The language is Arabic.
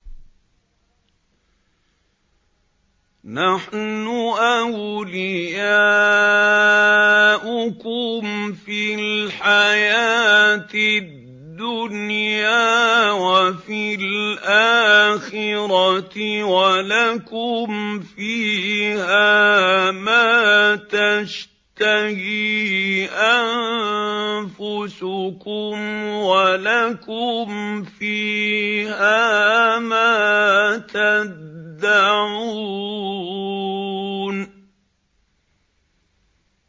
نَحْنُ أَوْلِيَاؤُكُمْ فِي الْحَيَاةِ الدُّنْيَا وَفِي الْآخِرَةِ ۖ وَلَكُمْ فِيهَا مَا تَشْتَهِي أَنفُسُكُمْ وَلَكُمْ فِيهَا مَا تَدَّعُونَ